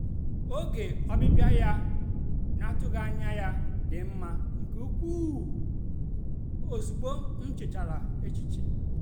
oge ọbịbịa ya na-atụghị anya ya dị mma nke ukwuu ozịgbọ m nchechara echiche.